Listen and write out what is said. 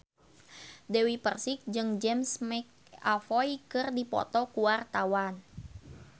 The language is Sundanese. Dewi Persik jeung James McAvoy keur dipoto ku wartawan